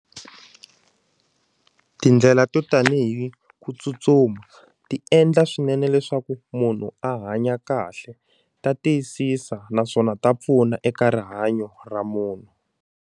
Tindlela to tanihi ku tsutsuma ti endla swinene leswaku munhu a hanya kahle ta tiyisisa naswona ta pfuna eka rihanyo ra munhu.